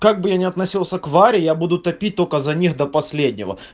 как бы я не относился к варе я буду топить только за них до последнего